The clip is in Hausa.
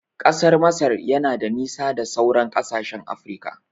Ƙasar Masar yana da nisa da sauran kasashen Afirika